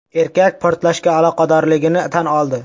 Erkak portlashga aloqadorligini tan oldi.